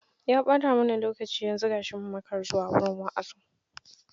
Ya ɓata mana lokaci mun makara zuwa wurin wa'azin.